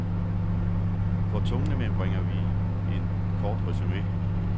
For tungnemme bringer vi et kort resume.